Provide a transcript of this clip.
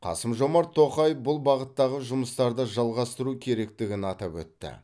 қасым жомарт тоқаев бұл бағыттағы жұмыстарды жалғастыру керектігін атап өтті